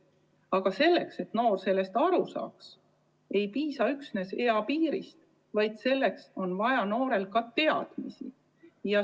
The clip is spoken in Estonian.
Aga selleks, et noor sellest aru saaks, ei piisa üksnes eapiiri tõstmisest, vaid noorel on vaja ka teadmisi.